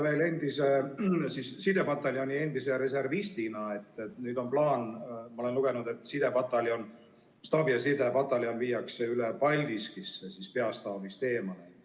Veel tahan sidepataljoni endise reservistina küsida selle kohta, et nüüd on plaan, nagu ma olen lugenud, staabi- ja sidepataljon viia üle Paldiskisse, peastaabist eemale.